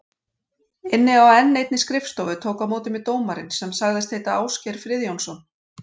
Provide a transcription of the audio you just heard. Inni á enn einni skrifstofu tók á móti mér dómarinn sem sagðist heita Ásgeir Friðjónsson.